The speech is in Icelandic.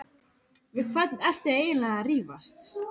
Við hvern ertu eiginlega að rífast?